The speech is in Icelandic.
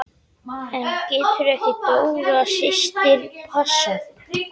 En getur ekki Dóra systir passað?